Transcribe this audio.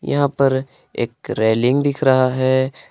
यहां पर एक रेलिंग दिख रहा है।